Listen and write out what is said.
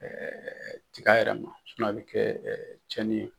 tiga yɛrɛ ma a bɛ kɛ tiɲɛni ye.